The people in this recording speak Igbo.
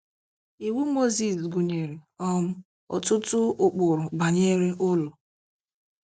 Iwu Mozis gụnyere um ọtụtụ ụkpụrụ banyere ụlọ.